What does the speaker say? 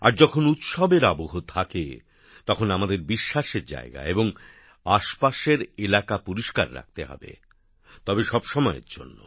আর যখন উৎসবের আবহ থাকে তখন আমাদের আরাধনার জায়গা এবং আশপাশের এলাকা পরিষ্কার রাখতে হবে তবে সবসময়ের জন্য